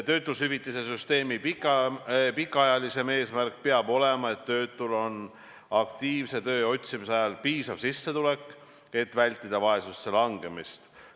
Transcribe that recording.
Töötushüvitise süsteemi pikemaajalisem eesmärk peab olema, et töötul on aktiivse töö otsimise ajal piisav sissetulek, et vältida vaesusesse langemist.